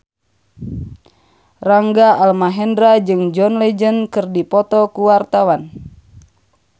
Rangga Almahendra jeung John Legend keur dipoto ku wartawan